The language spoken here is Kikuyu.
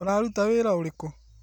Ũraruta wĩra ũrĩkũ?